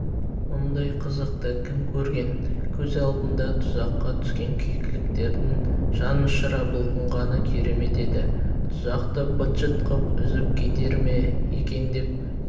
мұндай қызықты кім көрген көз алдыңда тұзаққа түскен кекіліктердің жан ұшыра бұлқынғаны керемет еді тұзақты быт-шыт қып үзіп кетер ме екен деп